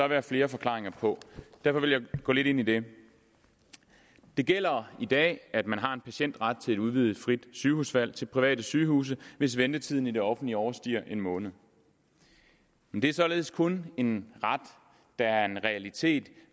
være flere forklaringer på derfor vil jeg gå lidt ind i det det gælder i dag at man har en patientret til et udvidet frit sygehusvalg til private sygehuse hvis ventetiden i det offentlige overstiger en måned men det er således kun en ret der er en realitet